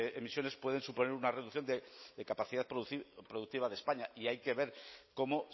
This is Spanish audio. emisiones pueden suponer una reducción de capacidad productiva de españa y hay que ver cómo